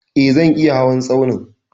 E, zan iya hawan tsaunin.